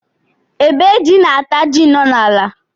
Ébé jị na ata jị nọ na ala